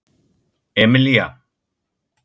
Emelía